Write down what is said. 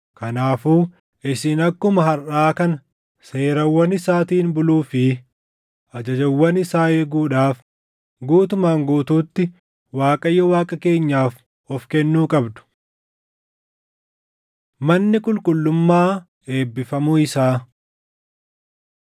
Kanaafuu isin akkuma harʼaa kana seerawwan isaatiin buluu fi ajajawwan isaa eeguudhaaf guutumaan guutuutti Waaqayyo Waaqa keenyaaf of kennuu qabdu.” Manni Qulqullummaa Eebbifamuu Isaa 8:62‑66 kwf – 2Sn 7:1‑10